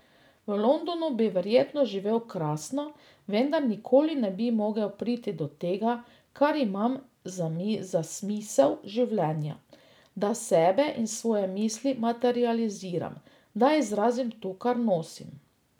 V Londonu bi verjetno živel krasno, vendar nikoli ne bi mogel priti do tega kar imam za smisel življenja, da sebe in svoje misli materializiram, da izrazim to, kar nosim.